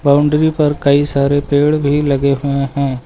Boundary पर कई सारे पेड़ भी लगे हुए हैं।